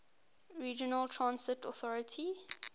regional transit authority